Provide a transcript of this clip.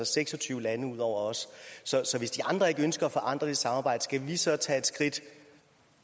seks og tyve lande ud over os så hvis de andre ikke ønsker at forandre det samarbejde skal vi så tage skridtet